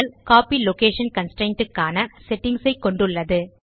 copy location constraint க்கான settings ஐ கொண்டுள்ளது